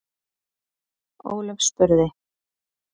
Ólöf spurði: